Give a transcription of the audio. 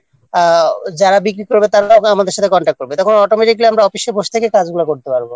যারা বিক্রি করবে তারা আমাদের সঙ্গে Contact করবে তখন আমরা office-এ বসে থেকে কাজগুলো করতে পারব